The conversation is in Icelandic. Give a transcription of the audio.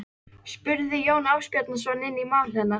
spurði Jón Ásbjarnarson inn í mál hennar.